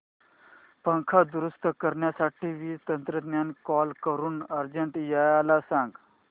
पंखा दुरुस्त करण्यासाठी वीज तंत्रज्ञला कॉल करून अर्जंट यायला सांग